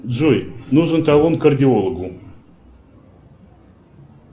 джой нужен талон к кардиологу